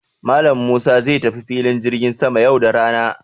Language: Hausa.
Malam Musa zai tafi filin jirgin sama yau da rana.